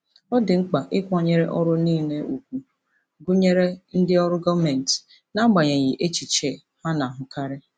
Ọ dị mkpa ịkwanyere ọrụ niile ùgwù, gụnyere ndị ọrụ gọọmentị, n'agbanyeghị echiche a na-ahụkarị.